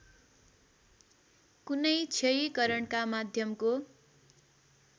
कुनै क्षयीकरणका माध्यमको